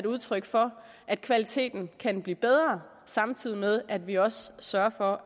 udtryk for at kvaliteten kan blive bedre samtidig med at vi også sørger for